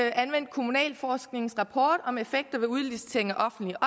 anvendt kommunalforsknings rapport om effekter ved udlicitering af offentlige